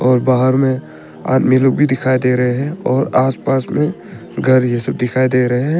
और बाहर में आदमी लोग भी दिखाई दे रहे है और आस पास में घर ये सब दिखाई दे रहे हैं।